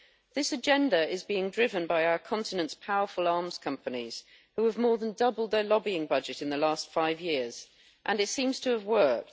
This agenda is being driven by our continent's powerful arms companies, which have more than doubled their lobbying budget in the last five years, and it seems to have worked.